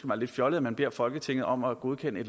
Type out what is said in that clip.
mig lidt fjollet at man beder folketinget om at godkende